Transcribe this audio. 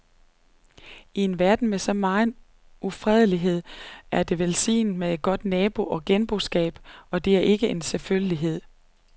I en verden med så megen ufredelighed er det velsignet med et godt nabo- og genboskab, og det er ikke en selvfølgelighed.